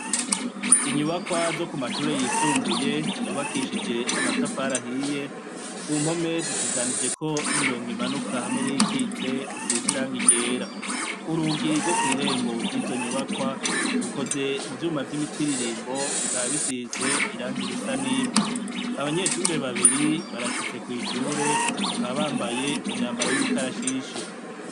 Inyubakwa zo kumashure y'isumbuye, zubakishije amatafari ahiye, ku mpome hashushanijeko imirongo imanuka hamwe n'iyikitse isize irangi ryera. Urugi reo kw'irembo ryizo nyubakwa rukoze mu vyuma vy'imitiririmbo bikaba bisize irangi risa n'ivu. Abanyeshure babiri barashitse kw'ishure bakaba bambaye imyambaro y'ikarashishi.